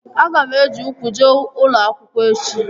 Aga m eji ukwu jee ụlọ akwụkwọ echi